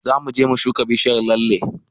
Zamu je mu shuka bishiyar lalle